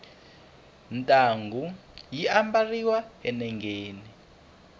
ntangu yi ambariwa enengeni